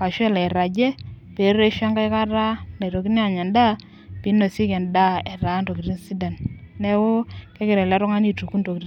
ashu elo airagie pee ereshu enkae kata nitokini aanya edaa. pee einosieki edaa etaa ntokitin sidan. neeku kegira ele tungani aituku ntokitin.